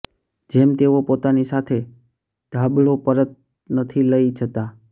જેમ તેઓ પોતાની સાથે ઢાબળો પરત નથી લઈ જતા